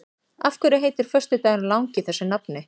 Af hverju heitir föstudagurinn langi þessu nafni?